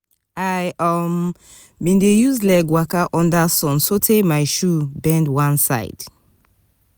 i um bin dey use leg waka under sun sotee my shoe bend one side.